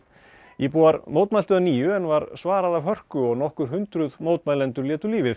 íbúar mótmæltu að nýju en var svarað af hörku og nokkur hundruð mótmælendur létu lífið